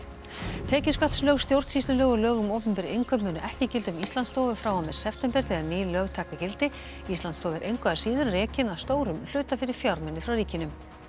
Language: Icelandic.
tekjuskattslög stjórnsýslulög og lög um opinber innkaup munu ekki gilda um Íslandsstofu frá og með september þegar ný lög taka gildi Íslandsstofa er engu að síður rekin að stórum hluta fyrir fjármuni frá ríkinu